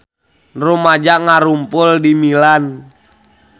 Rumaja ngarumpul di Milan